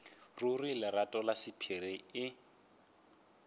ruri lerato la sephiri e